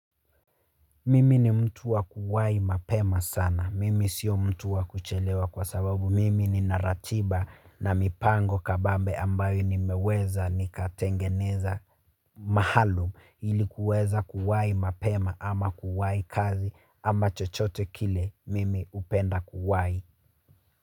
Mimi ni mtu wa kuwai mapema sana. Mimi sio mtu wa kuchelewa kwa sababu. Mimi nina ratiba na mipango kabambe ambayo nimeweza nikatengeneza maalum ilikuweza kuwai mapema ama kuwai kazi ama chochote kile mimi hupenda kuwai.